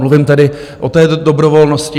Mluvím tedy o té dobrovolnosti.